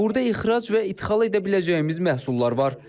Burda ixrac və idxal edə biləcəyimiz məhsullar var.